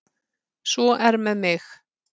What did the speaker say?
Svo er með mig.